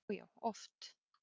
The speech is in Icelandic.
Já, já oft.